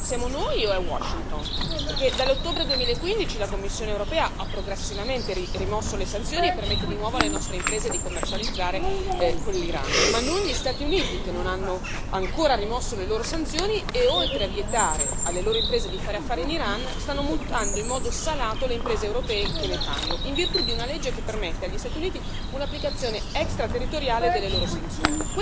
Siamo noi o è Washington? Dall'ottobre 2015 la Commissione europea ha progressivamente rimosso le sanzioni e permette di nuovo alle nostre imprese di commercializzare con l'Iran, mentre gli Stati Uniti non hanno ancora rimosso le loro sanzioni e, oltre a vietare alle loro imprese di fare affari in Iran, stanno multando in modo salato le imprese europee che ne fanno, in virtù di una legge che permette agli Stati Uniti un'applicazione extraterritoriale delle loro sanzioni.